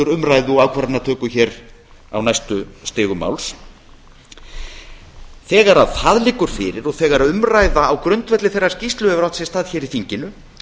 umræðu og ákvarðanatöku á næstu stigum máls þegar það liggur fyrir og þegar umræða á grundvelli þeirrar skýrslu hefur átt sér stað í þinginu